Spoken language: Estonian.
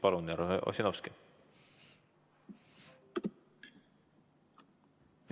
Palun, härra Ossinovski!